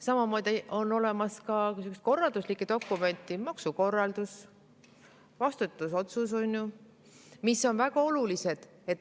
Samamoodi on olemas mitmesuguseid korralduslikke dokumente – maksukorraldus, vastutusotsus –, mis on väga olulised.